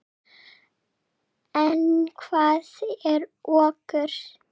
En hvað er okur?